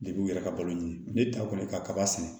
u yɛrɛ ka balo ye ne taw kɔni ye kaba sɛnɛ